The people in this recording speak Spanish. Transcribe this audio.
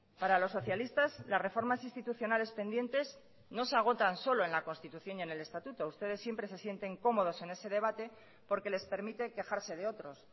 para los socialistas las reformas institucionales pendientes no se agotan solo en la constitución y en el estatuto ustedes siempre se sienten cómodos en ese debate porque les permite quejarse de otros